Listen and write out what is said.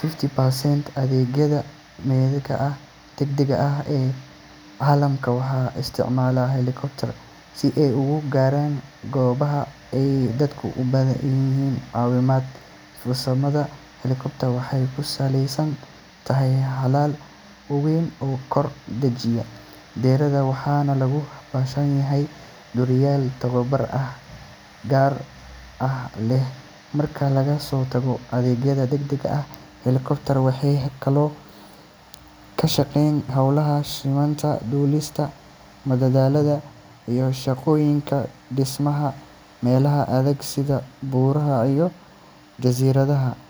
fifty percent adeegyada badbaadinta degdega ah ee caalamka waxaa isticmaala helicopters si ay ugu gaaraan goobaha ay dadku u baahan yihiin caawimaad. Farsamada helicopter waxay ku saleysan tahay baalal waaweyn oo kor u dhaqaajiya diyaaradda, waxaana loo baahan yahay duuliyayaal tababar gaar ah leh. Marka laga soo tago adeegyada degdega ah, helicopters waxay kaloo ka shaqeeyaan hawlaha sahminta, duulista madadaalada, iyo shaqooyinka dhismaha meelaha adag sida buuraha iyo jasiiradaha.